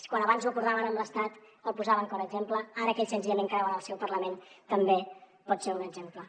quan abans ho acordaven amb l’estat el posaven com a exemple ara que ells senzillament creuen en el seu parlament també pot ser un exemple